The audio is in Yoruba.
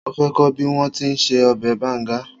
Mo fẹ́ kọ́ bí wọ́n ti ń se ọbẹ̀ banga